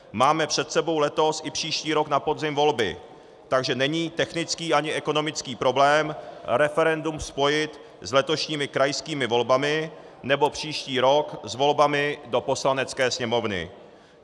Máme před sebou letos i příští rok na podzim volby, takže není technický ani ekonomický problém referendum spojit s letošními krajskými volbami nebo příští rok s volbami do Poslanecké sněmovny.